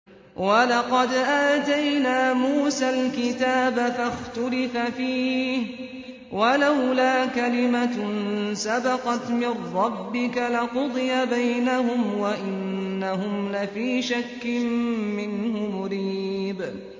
وَلَقَدْ آتَيْنَا مُوسَى الْكِتَابَ فَاخْتُلِفَ فِيهِ ۗ وَلَوْلَا كَلِمَةٌ سَبَقَتْ مِن رَّبِّكَ لَقُضِيَ بَيْنَهُمْ ۚ وَإِنَّهُمْ لَفِي شَكٍّ مِّنْهُ مُرِيبٍ